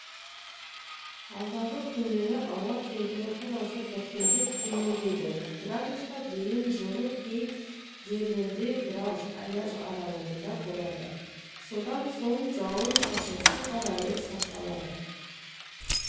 алдағы күндері ауа температурасы біртіндеп төмендейді градусқа дейін жылы кей жерлерде градус аяз аралығында болады содан соң жауын-шашынсыз ауа райы сақталады